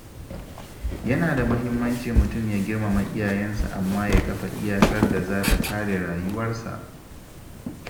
Yana da mahimmanci mutum ya girmama iyayensa amma ya kafa iyakar da za ta kare rayuwarsa.